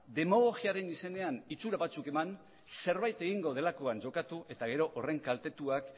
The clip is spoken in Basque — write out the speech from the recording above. demagogiaren izenean itxura batzuk eman zerbait egingo delakoan jokatu eta gero horren kaltetuak